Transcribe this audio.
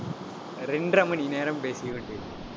இரண்டரை மணி நேரம் பேசி உள்ளேன்